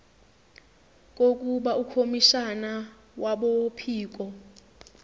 kokuba ukhomishana wabophiko